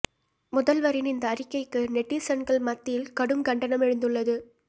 முதல்வரின் இந்த அறிக்கைக்கு நெட்டீசன்கள் மத்தியில் கடும் கண்டனம் எழுந்துள்ளது